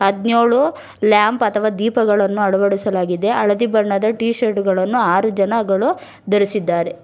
ಯೋಳು ಲ್ಯಾಂಪ್ ಅಥವಾ ದೀಪಗಳನ್ನು ಅಳವಡಿಸಲಾಗಿದೆ ಹಳದಿ ಬಣ್ಣದ ಟೀ ಶರ್ಟ್ ಗಳನ್ನು ಆರು ಜನಗಳು ಧರಿಸಿದ್ದಾರೆ.